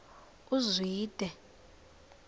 uzwide